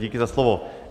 Díky za slovo.